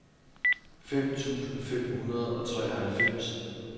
fem tusind fem hundrede og treoghalvfems